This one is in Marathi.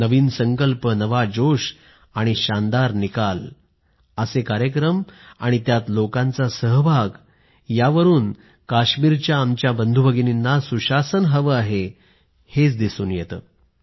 नवीन संकल्प नवा जोश आणि शानदार परिणाम असे कार्यक्रम आणि त्यात लोकांचा सहभाग हे काश्मीरच्या आमच्या बंधुभगिनीना सुशासन हवं आहे हेच दर्शवतो